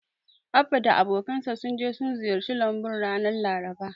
Abba da abokansa sun je sun ziyarci lambun ranar Laraba.